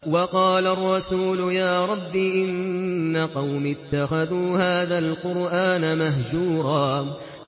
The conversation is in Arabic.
وَقَالَ الرَّسُولُ يَا رَبِّ إِنَّ قَوْمِي اتَّخَذُوا هَٰذَا الْقُرْآنَ مَهْجُورًا